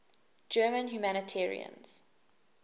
german humanitarians